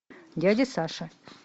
дядя саша